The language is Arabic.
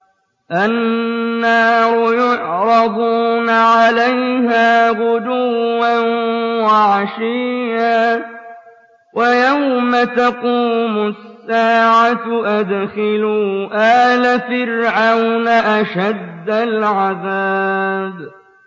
النَّارُ يُعْرَضُونَ عَلَيْهَا غُدُوًّا وَعَشِيًّا ۖ وَيَوْمَ تَقُومُ السَّاعَةُ أَدْخِلُوا آلَ فِرْعَوْنَ أَشَدَّ الْعَذَابِ